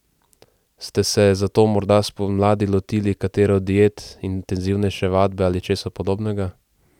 Ste se zato morda spomladi lotili katere od diet, intenzivnejše vadbe ali česa podobnega?